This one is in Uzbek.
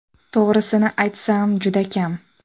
– To‘g‘risini aytsam juda kam.